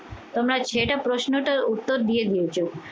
তোমরা ছেলেটার প্রশ্নটার উত্তর দিয়ে দিয়েছো?